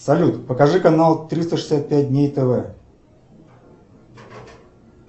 салют покажи канал триста шестьдесят пять дней тв